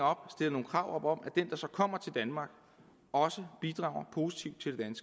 nogle krav op om at de der så kommer til danmark også bidrager positivt til det